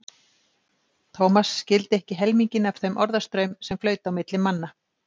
Thomas skildi ekki helminginn af þeim orðastraum sem flaut á milli manna.